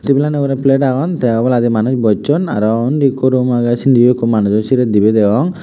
tableano ugurey plate agon tey oboladi manuj bochon aro undi ekku room agey sindiyo ekku manujo sirey dibey degong.